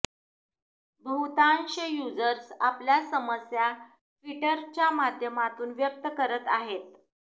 बहुतांश युजर्स आपल्या समस्या ट्विटरच्या माध्यमातून व्यक्त करत आहेत